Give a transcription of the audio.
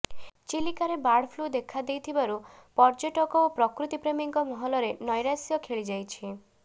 ଚିଲିକାରେ bird flu ଦେଖାଦେଇଥିବାରୁ ପର୍ଯ୍ୟଟକ ଓ ପ୍ରକୃତିପ୍ରେମୀଙ୍କ ମହଲରେ ନ୘ରାଶ୍ୟ ଖେଳିଯାଇଛି